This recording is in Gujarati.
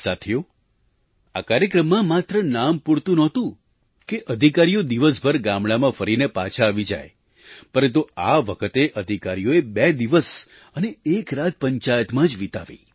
સાથીઓ આ કાર્યક્રમમાં માત્ર નામપૂરતું નહોતું કે અધિકારીઓ દિવસભર ગામડામાં ફરીને પાછા આવી જાય પરંતુ આ વખતે અધિકારીઓએ બે દિવસ અને એક રાત પંચાયતમાં જ વિતાવી